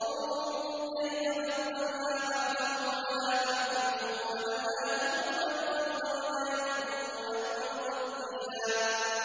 انظُرْ كَيْفَ فَضَّلْنَا بَعْضَهُمْ عَلَىٰ بَعْضٍ ۚ وَلَلْآخِرَةُ أَكْبَرُ دَرَجَاتٍ وَأَكْبَرُ تَفْضِيلًا